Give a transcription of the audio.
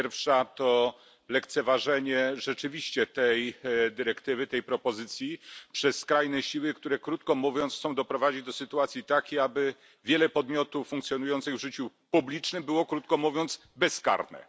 Pierwsza to lekceważenie rzeczywiście tej dyrektywy, tej propozycji przez skrajne siły, które, krótko mówiąc, chcą doprowadzić do sytuacji takiej, aby wiele podmiotów funkcjonujących w życiu publicznym było, krótko mówiąc, bezkarnych.